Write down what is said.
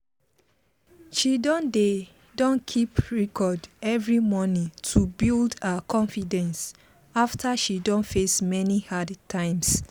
she don dey don keep record every morning to build her confidence after she don face many hard times